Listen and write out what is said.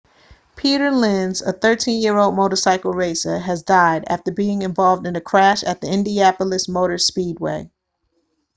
peter lenz a 13-year-old motorcycle racer has died after being involved in a crash at the indianapolis motor speedway